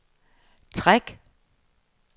træk